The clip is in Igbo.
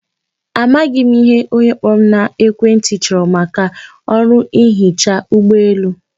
Amaghị m ihe onye kpọrọ m n'ekwentị chọrọ maka ọrụ ihechi ụgbọelu.